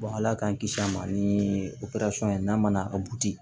ala k'an kisi a ma ni operasɔn ye n'a ma na a buti